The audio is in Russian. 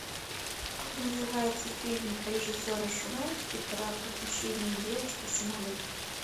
как называется фильм режиссера швентке про похищение девочки в самолете